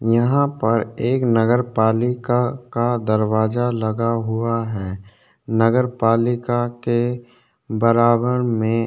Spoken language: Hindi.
यहाँ पर एक नगरपालिका का दरवाजा लगा हुआ है नगरपालिका के बराबर में --